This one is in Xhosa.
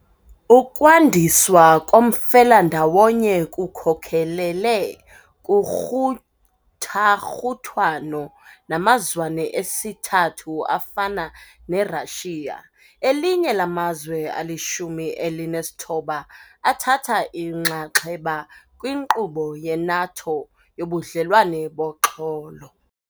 Ukwandiswa komfelandawonye kukhokelele kukruthakruthwano namazwene esithathu afana neRussia, elinye lamazwe alishumi elinesithoba athatha inxaxheba kwinkqubo ye-NATO yoBudlelwane boXolo.